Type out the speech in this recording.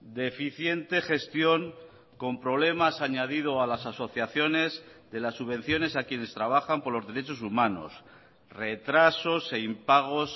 deficiente gestión con problemas añadido a las asociaciones de las subvenciones a quienes trabajan por los derechos humanos retrasos e impagos